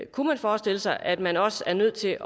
kunne man forestille sig at man også er nødt til